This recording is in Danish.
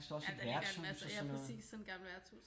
Ja men der ligger en masse ja præcis sådan et gammelt værtshus